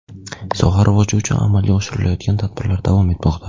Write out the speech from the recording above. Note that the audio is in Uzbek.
Soha rivoji uchun amalga oshirilayotgan tadbirlar davom etmoqda.